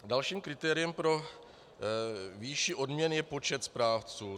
Dalším kritériem pro výši odměn je počet správců.